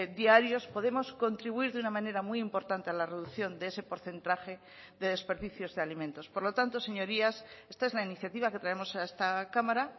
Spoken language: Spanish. diarios podemos contribuir de una manera muy importante a la reducción de ese porcentaje de desperdicios de alimentos por lo tanto señorías esta es la iniciativa que traemos a esta cámara